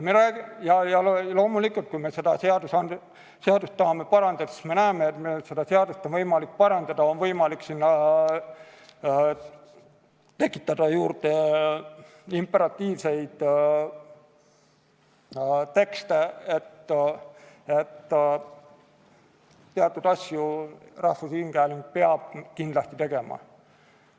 Loomulikult, kui me seda seadust tahame parandada, siis me näeme, et meil on seda võimalik parandada, on võimalik sinna tekitada juurde imperatiivseid tekste, et teatud asju rahvusringhääling peab kindlasti tegema.